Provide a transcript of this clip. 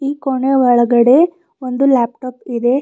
ಈ ಕೋಣೆ ಒಳಗಡೆ ಒಂದು ಲ್ಯಾಪ್ ಟಾಪ್ ಇದೆ.